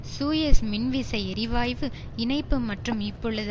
Suez மின்விசை எரிவாயு இணைப்பு மற்றும் இப்பொழுது